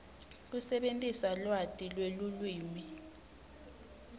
kusebentisa lwati lwelulwimi